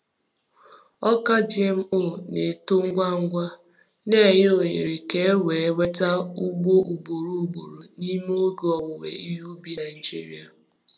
Ọka GMO na-eto ngwa ngwa, na-enye ohere ka e wee nweta ugbo ugboro ugboro n’ime oge owuwe ihe ubi Naijiria.